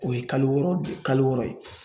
O ye kalo wɔɔrɔ, kalo wɔɔrɔ ye